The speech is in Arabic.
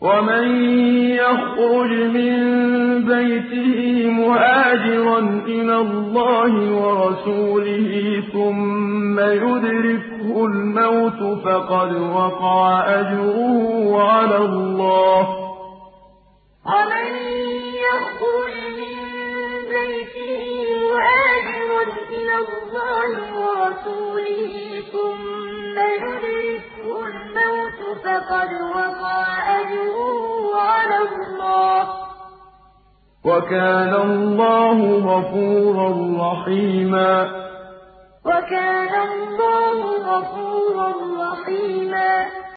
وَمَن يَخْرُجْ مِن بَيْتِهِ مُهَاجِرًا إِلَى اللَّهِ وَرَسُولِهِ ثُمَّ يُدْرِكْهُ الْمَوْتُ فَقَدْ وَقَعَ أَجْرُهُ عَلَى اللَّهِ ۗ وَكَانَ اللَّهُ غَفُورًا رَّحِيمًا ۞ وَمَن يُهَاجِرْ فِي سَبِيلِ اللَّهِ يَجِدْ فِي الْأَرْضِ مُرَاغَمًا كَثِيرًا وَسَعَةً ۚ وَمَن يَخْرُجْ مِن بَيْتِهِ مُهَاجِرًا إِلَى اللَّهِ وَرَسُولِهِ ثُمَّ يُدْرِكْهُ الْمَوْتُ فَقَدْ وَقَعَ أَجْرُهُ عَلَى اللَّهِ ۗ وَكَانَ اللَّهُ غَفُورًا رَّحِيمًا